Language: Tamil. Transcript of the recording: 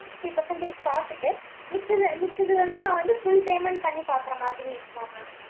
fifty percentage பாத்துட்டு, மிச்சத, மிச்சது வந்து, நான் வந்து, full payment பண்ணி பாக்குற மாதிரி இருக்குமா ma'am.